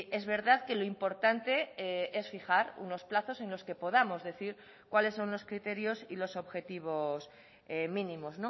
es verdad que lo importante es fijar unos plazos en los que podamos decir cuáles son los criterios y los objetivos mínimos